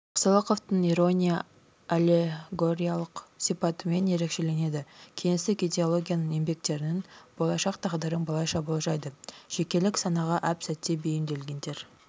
жақсылықовтың ирония аллегориялық сипатымен ерекшеленеді кеңестік идеологияның еңбектерінің болашақ тағдырын былайша болжайды жекелік санаға әп-сәтте бейімделгендер